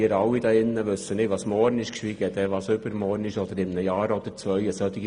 Wir alle hier wissen nicht, was morgen ist, geschweige denn, was übermorgen oder in einem oder zwei Jahren ist.